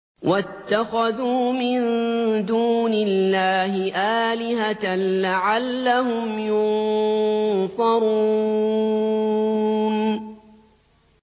وَاتَّخَذُوا مِن دُونِ اللَّهِ آلِهَةً لَّعَلَّهُمْ يُنصَرُونَ